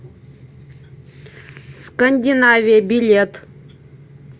скандинавия билет